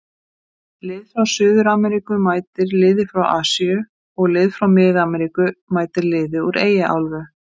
Lið frá Suður-Ameríku mætir liði frá Asíu og lið frá mið-Ameríku mætir liði úr Eyjaálfu.